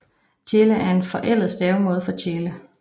Thiele er en forældet stavemåde for Tjele